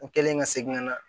U kɛlen ka segin ka na